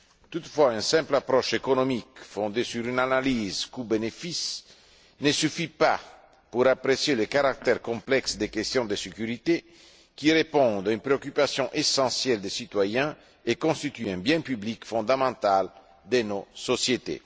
Toutefois, une simple approche économique, fondée sur une analyse coûts bénéfices, ne suffit pas pour apprécier le caractère complexe des questions de sécurité, qui répondent à une préoccupation essentielle des citoyens et constituent un bien public fondamental de nos sociétés.